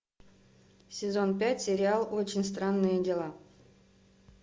сезон пять сериал очень странные дела